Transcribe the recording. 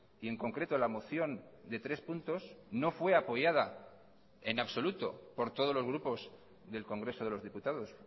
y en concreto la moción de tres puntos no fue apoyada en absoluto por todos los grupos del congreso de los diputados